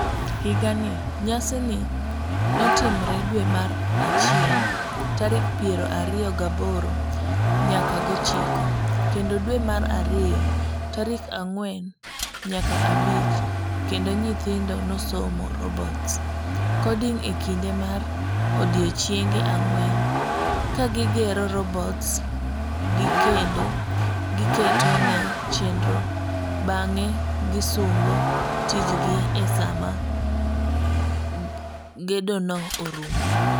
Higani, nyasini notimre dwe mar achiel tarik piero ariyo gaboro nyaka gochiko kendo dwe mar ariyo tarik ang'wen nyaka abich kendo nyithindo nosomo robots ,coding ekinde mar odiechienge ang'wen kagigero robots gi kendo giketone chenro bange gisungo tichgi esama gedono orumo.